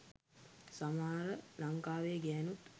සමහර ලංකාවේ ගෑනුත්